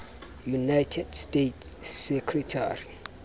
united states secretary